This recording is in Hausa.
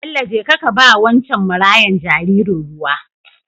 Bello jeka kaba wancen marayan jaririn ruwa